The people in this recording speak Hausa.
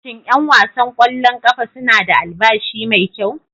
Shin 'yan wasan kwallon kafa suna da albashi mai kyau?